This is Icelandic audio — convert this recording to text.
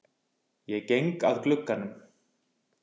Ég geng að glugganum.